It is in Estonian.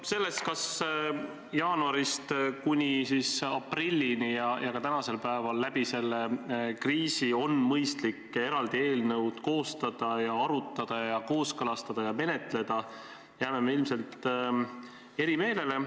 Selles, kas jaanuarist kuni aprillini ja ka tänasel päeval selle kriisi jooksul on mõistlik eraldi eelnõu koostada, seda arutada, kooskõlastada ja menetleda, jääme me ilmselt eri meelele.